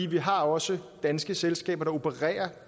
vi har også danske selskaber som opererer